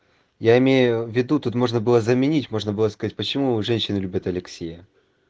я имею в виду тут можно было заменить можно было сказать почему женщины любят алексия